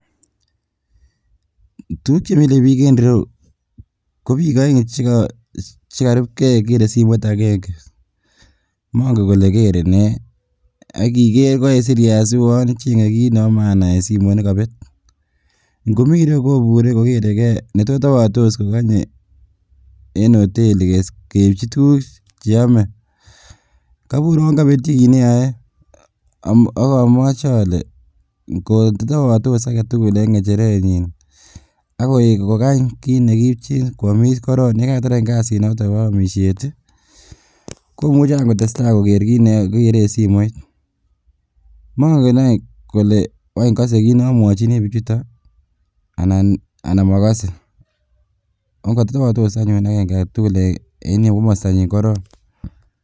Tukuk chemile biik en ireyuu ko biik oeng chekarubkee Kerr simoit akeng'e, mong'en kolee kere nee, ak iker koik sirias uwon cheng'e kiit nebo maana en simoit nekobet, ngomii ireyuu kobure kokerekee netos tebotos kokonye en hoteli keibchi tukuk cheome, kobur Kouwon kobetyi kiit neyoe akamoche olee ng'otebotos aketukul en ng'echerenyin ak kokany kiit nekiipchin kwomis korong, yekatar any kasinoton bo omishet komuche aany kotesta koker kiit neyoe kokere en simoit, mong'en aany kolee waany kosee kiit nomwochini bichuton anan mokosee ak ko kotebotos anyun akeng'e aketukul en komostanyin korong.